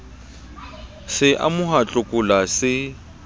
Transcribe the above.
se amoha tlokola se e